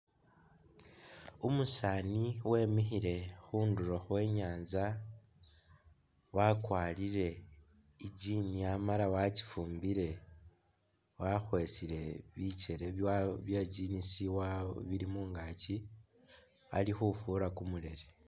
Umusaani wemikhile khundulo khwe nyanza ,wakwarire i'jean amala wakyifumbire ,wakhwesile bikele wa bye jeans wa bili mungaakyi ,ali khufura kumulele